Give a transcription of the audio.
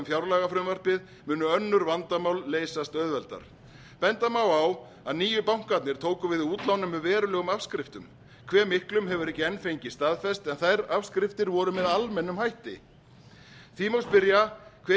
fjárlagafrumvarpið munu önnur vandamál leysast auðveldar benda má á að nýju bankarnir tóku við útlánum með verulegum afskriftum hve miklum hefur ekki enn fengist staðfest en þær afskriftir voru með almennum hætti því má spyrja hver